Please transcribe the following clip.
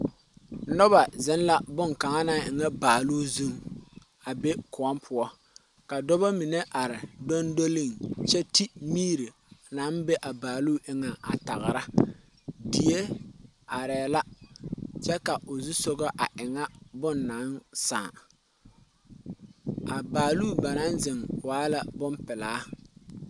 Noba zeŋɛ bonkaŋa na e ŋa baaluu zʋŋ, a be koɔ poɔ ka dɔba mine are dondoleŋ kyɛ ti miiri naŋ be a baaluu eŋɛ a tagera die are la kyɛ ka o zusɔgɔ e ŋa bon naŋ saaŋ a baaluu ba naŋ zʋŋ wa la bon pɛlaa.